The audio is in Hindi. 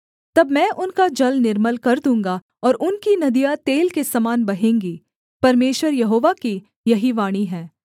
तब मैं उनका जल निर्मल कर दूँगा और उनकी नदियाँ तेल के समान बहेंगी परमेश्वर यहोवा की यही वाणी है